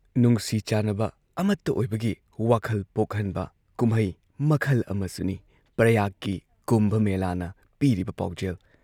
ꯅꯨꯡꯁꯤ ꯆꯥꯟꯅꯕ, ꯑꯃꯠꯇ ꯑꯣꯏꯕꯒꯤ ꯋꯥꯈꯜ ꯄꯣꯛꯍꯟꯕ ꯀꯨꯝꯍꯩ ꯃꯈꯜ ꯑꯃꯁꯨꯅꯤ ꯄ꯭ꯔꯌꯥꯒꯀꯤ ꯀꯨꯝꯚ ꯃꯦꯂꯥꯅ ꯄꯤꯔꯤꯕ ꯄꯥꯎꯖꯦꯜ